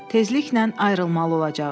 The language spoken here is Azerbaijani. Tezliklə ayrılmalı olacağıq.